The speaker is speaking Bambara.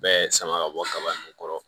Bɛɛ sama ka bɔ kaba in kɔrɔ